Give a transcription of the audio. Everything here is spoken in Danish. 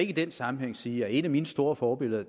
i den sammenhæng sige at et af mine store forbilleder